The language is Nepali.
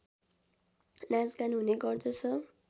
नाचगान हुने गर्दछ